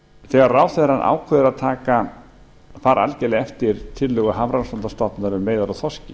þegar ráðherrann ákveður að fara algerlega eftir tillögu hafrannsóknastofnunar um veiðar á þorski